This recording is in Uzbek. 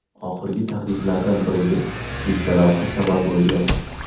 Oxirgi tahdidlardan biriga bitta lavha sabab bo‘lgan.